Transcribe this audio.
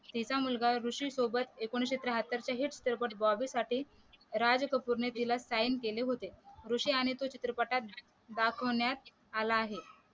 तिचा मुलगा ऋषी सोबत एकोणीशे त्र्याहत्तर च्या हिट चित्रपट बॉबी साठी राज कपूर ने तिला साइन केले होते ऋषी आणि तो चित्रपटात दाखवण्यात आला आहे